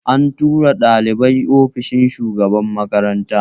An tura ɗalibin ofishin shugaban makaranta